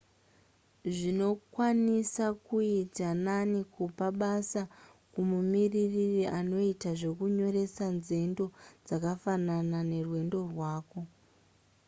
zvinokwanisa kuita nani kupa basa kumumiririri anoita zvenyoresa nzendo dzakafanana nerwendo rwako